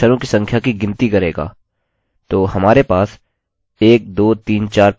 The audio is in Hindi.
तो हमारे पास 1 2 3 4 5 अक्षर है